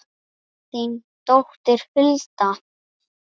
Þín dóttir Hulda.